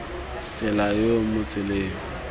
tsela yo o mo tseleng